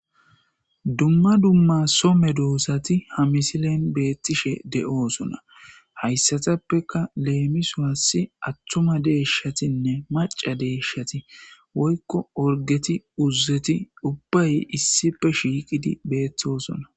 dumma dumma so medoosati ha misilen beettishe de7oosona hayssatappeka leemiso assi attuma deeshshatinne maca deeshshati woykko orgeti uzeti ubbay issife shiiqidi beettosona.